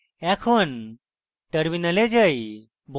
এখন terminal যাই